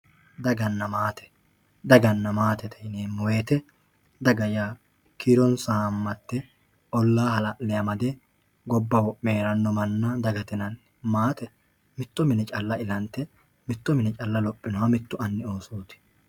Daganna maate. Daganna maatete yineemmo woyite daga yaa kiironsa haammatte ollaa hala'le amade gobba wo'me heeranno manna dagate yinanni. Maate mitto mine calla ilante mitto mine calla lophinoha mittu anni oosooti.